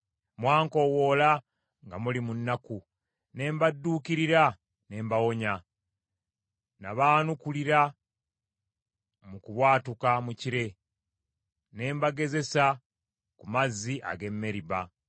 Mwankoowoola nga muli mu nnaku ne mbadduukirira ne mbawonya, nabaanukulira mu kubwatuka mu kire; ne mbagezesa ku mazzi ag’e Meriba.